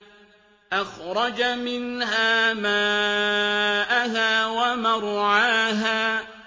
أَخْرَجَ مِنْهَا مَاءَهَا وَمَرْعَاهَا